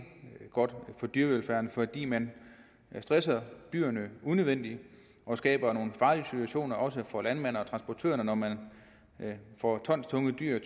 godt for dyrevelfærden fordi man stresser dyrene unødvendigt og skaber nogle farlige situationer også for landmænd og transportører når man får tonstunge dyr